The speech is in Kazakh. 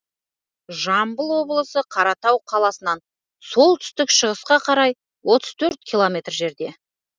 жамбыл облысы қаратау қаласынан солтүстік шығысқа қарай отыз төрт километр жерде